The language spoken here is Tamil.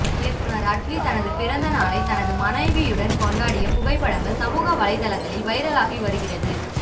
இயக்குநர் அட்லி தனது பிறந்தநாளை தனது மனைவியுடன் கொண்டாடிய புகைப்படங்கள் சமூக வலைதளங்களில் வைரலாகி வருகிறது